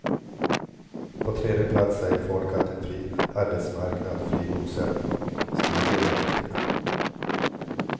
På tredje plats säger folk att en fri arbetsmarknad, fri bosättning och studier är viktiga.